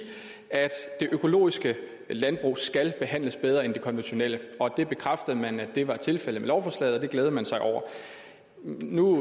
økologiske landbrug skal behandles bedre end det konventionelle det bekræftede man var tilfældet med lovforslaget og det glædede man sig over nu